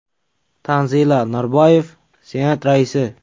Tanzila Norboyev, Senat raisi.